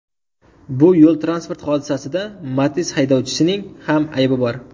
Bu yo‘l-transport hodisasida Matiz haydovchisining ham aybi bor.